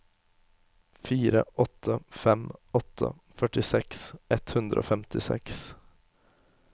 fire åtte fem åtte førtiseks ett hundre og femtiseks